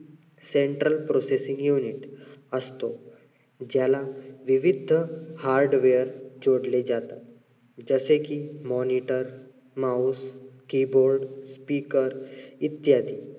central processing unit असतो. ज्याला विविध हं hardware जोडले जातात. जसे कि moniter, mouse keyboard speaker इत्यादी.